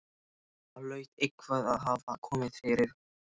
Það hlaut eitthvað að hafa komið fyrir.